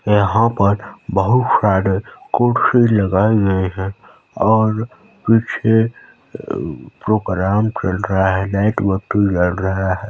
यहाँ पर बहुत सारे कुर्सी लगाए गए है और पीछे प्रोग्राम चल रहा है और लाइट बत्ती जल रहा है।